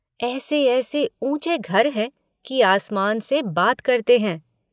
ऐसे ऐसे ऊँचे घर हैं कि आसमान से बातें करते हैं।